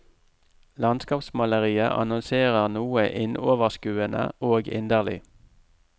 Landskapsmaleriet annonserer noe innoverskuende og inderlig.